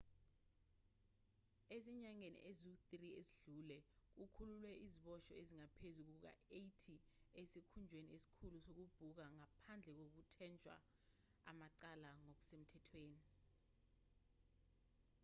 ezinyangeni ezingu-3 ezedlule kukhululwe iziboshwa ezingaphezu kuka-80 esikhungweni esikhulu sokubhuka ngaphandle kokuthweshwa amacala ngokusemthethweni